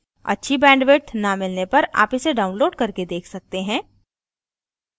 अच्छी bandwidth न मिलने पर आप इसे download करके देख सकते हैं